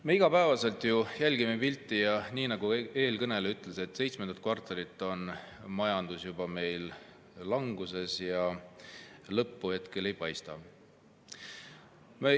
Me ju igapäevaselt jälgime pilti ja nii nagu eelkõneleja ütles, juba seitsmendat kvartalit on majandus languses ja lõppu hetkel ei paista.